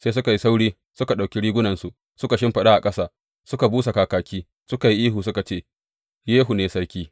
Sai suka yi sauri suka ɗauki rigunansu suka shimfiɗa a ƙasa, suka busa kakaki, suka yi ihu, suka ce, Yehu ne sarki.